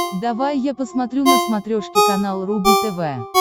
давай я посмотрю на смотрешке канал рубль тв